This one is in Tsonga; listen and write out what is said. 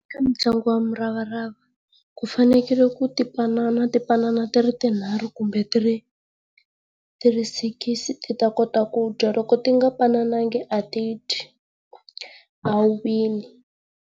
Ka ntlangu wa muravarava ku fanekele ku tipanana tipanana ti ri tinharhu kumbe ti ri ti ri sikisi ti ta kota ku dya loko ti nga panananga a ti dyi. A wu wini.